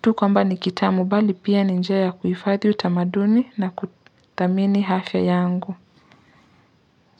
tu kwamba nikitamu bali pia ninjaya kuifadhi utamaduni na kuthamini hafya yangu.